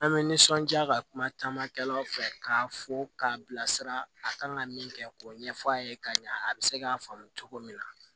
An bɛ nisɔndiya ka kuma camankɛlaw fɛ k'a fɔ k'a bilasira a kan ka min kɛ k'o ɲɛfɔ a ye ka ɲɛ a bɛ se k'a faamu cogo min na